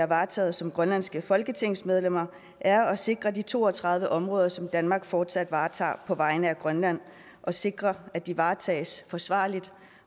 varetager som grønlandske folketingsmedlemmer er at sikre de to og tredive områder som danmark fortsat varetager på vegne af grønland og sikre at de varetages forsvarligt